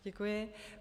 Děkuji.